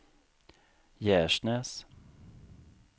Gärsnäs